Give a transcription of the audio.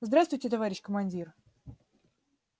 здравствуйте товарищ командир